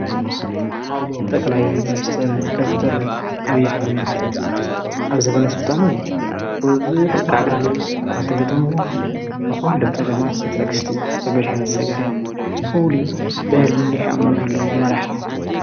ጠቕላይ ሚኒስተር ዶተር ኣብይ ኣሕምድ ኣብ ዘበነ ሱልጣኑ ብዙሕ ጋዕገልጠም እኳ እንተገጠምዎ ዂሎም ፀጋማት ብትዕግሥትን ብድሓን ዝሰገረ ፍሉይ በሊሕ ኣእምሮ ዘለዎ መራሒ እዩ፡፡